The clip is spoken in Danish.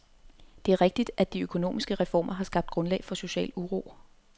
Det er rigtigt, at de økonomiske reformer har skabt grundlag for social uro.